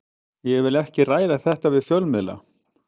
Ég vil ekki ræða þetta við fjölmiðla.